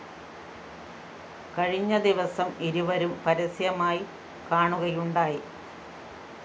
കഴിഞ്ഞ ദിവസം ഇരുവരും പരസ്യമായി കാണുകയുണ്ടായി